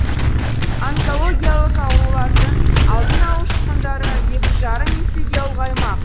онкологиялық аурулардың алдын алу шығындары екі жарым есеге ұлғаймақ